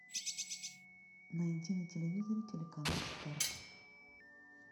найди на телевизоре телеканал старт